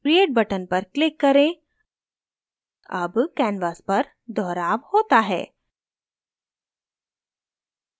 create button पर click करें अब canvas पर दोहराव होता है